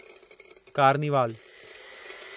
carnival